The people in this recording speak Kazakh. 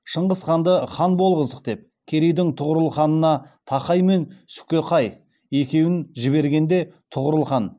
шыңғыс хағанды хан болғыздық деп керейдің тұғырылханына тақай мен сүкеқай екеуін жібергенде тұғырыл хан